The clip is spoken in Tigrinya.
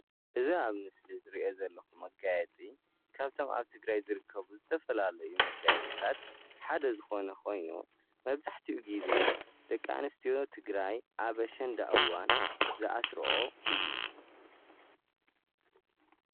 እዚ ኣብ ምስሊ ዝርኦ ዘለኩ መጋየፂ ካብቶም ኣብ ትግራይ ዝርከቡ ዝተፈላለዩ መጋየፅታት ሓደ ዝኾነ ኮይኑ መብዛሕትኡ ግዜ ደቂ ኣነስትዮ ትግራይ ኣብ ኣሸንዳ እዋን ዝኣስርኦ እዩ፡፡